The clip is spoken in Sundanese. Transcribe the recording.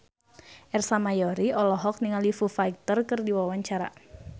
Ersa Mayori olohok ningali Foo Fighter keur diwawancara